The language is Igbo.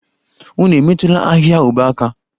Unu emetụla ahịhịa ube aka!